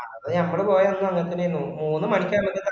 അത് ഞമ്മള് പോയന്ന് അങ്ങനെത്തന്നെആയിനും മൂന്ന് മണിക്കാന്ന്